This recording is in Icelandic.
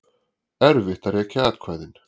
Erfitt að rekja atkvæðin